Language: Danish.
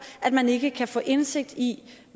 at man ikke kan få indsigt i